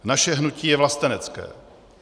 Naše hnutí je vlastenecké.